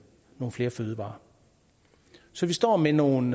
flere fødevarer så vi står med nogle